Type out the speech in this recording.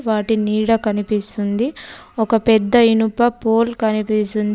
వాటి నీడ కనిపిస్తుంది. ఒక పెద్ద ఇనుప పోల్ కనిపిస్తుంది.